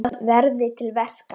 Vandað verði til verka.